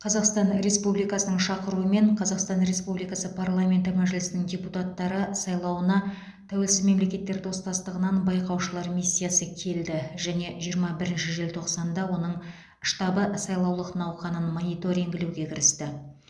қазақстан республикасының шақыруымен қазақстан республикасы парламенті мәжілісінің депутаттары сайлауына тәуелсіз мемлекеттер достастығынан байқаушылар миссиясы келді және жиырма бірінші желтоқсанда оның штабы сайлау науқанын мониторингілеуге кірісті